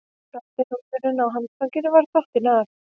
Svarti hnúðurinn á handfanginu var dottinn af